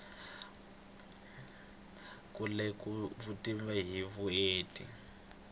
ku lemuka vutivi hi vuenti